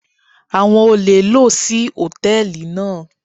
Àwọn olè lò sí Hòtẹ́lìì náà.